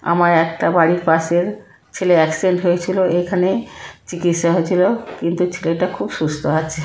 আমায় একটা বাড়ির পাশের ছেলে অ্যাক্সিডেন্ট হয়েছিল এখানে | চিকিৎসা হয়েছিল কিন্তু ছেলেটা খুব সুস্থ আছে।